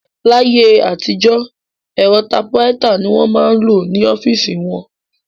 Láyé àtijọ́, ẹ̀rọ tapuraita ni wọ́n máa ń lò ní ọ́fíìsì wọn